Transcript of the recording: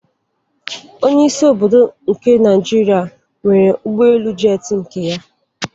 Onyeisi obodo nke Nigeria nwere ụgbọelu jetị nke ya